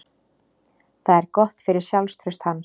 Það er gott fyrir sjálfstraust hans.